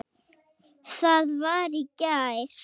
það var í gær.